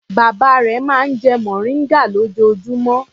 Bàbá rẹ̀ máa ń jẹ mòríngà lójoojúmọ́.